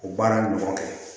O baara ɲɔgɔn kɛ